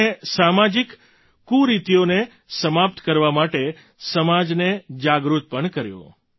તેમણે સામાજિક કુરીતિઓને સમાપ્ત કરવા માટે સમાજને જાગૃત પણ કર્યો